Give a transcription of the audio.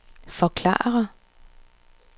forklare